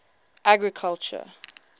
agriculture